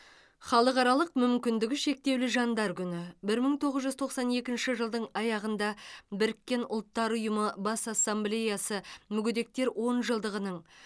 халықаралық мүмкіндігі шектеулі жандар күні бір мың тоғыз жүз тоқсан екінші жылдың аяғында біріккен ұлттар ұйымы бас ассамблеясы мүгедектер онжылдығының